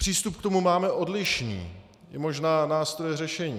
Přístup k tomu máme odlišný, i možná nástroje řešení.